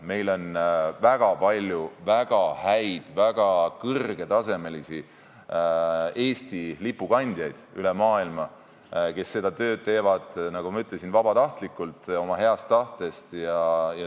Meil on väga palju väga häid, väga kõrgetasemelisi Eesti lipu kandjaid üle maailma, kes seda tööd teevad, nagu ma ütlesin, vabatahtlikult, omast heast tahtest.